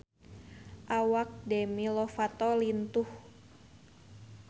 Awak Demi Lovato lintuh